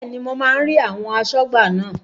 Bẹ́ẹ̀ni, mo máa ń rí àwọn asọ́gbà náà